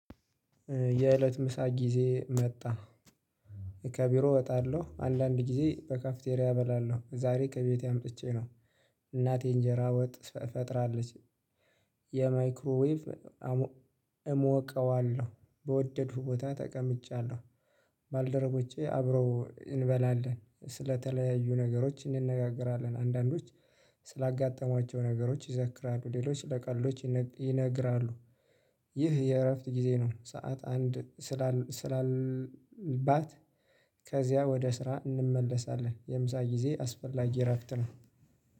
የእለት ምሳ ጊዜ መጣ ከቢሮ እወጣለሁ አንዳንድ ጊዜ በካፍቴሪያ እበላለሁ ዛሬ ከቤቴ አምጥቼ ነው። እናቴ እንጀራ ወጥ ፈጥራለች የማይክሮዌቭ እሞቀዋለሁ። በወደድኩ ቦታ ተቀምጫለሁ። ባልደረቦቼ አብረው እንበላለን ስለተለያዩ ነገሮች እንነጋገራለን አንዳንዶች ስላጋጠሟቸው ነገሮች ይዘክራሉ ሌሎች ስለቀልዶች ይነግራሉ። ይህ የእረፍት ጊዜ ነው። ሰዓት አንድ ስላልባት ከዚያ ወደ ስራ እንመለሳለን። የምሳ ጊዜ አስፈላጊ እረፍት ነው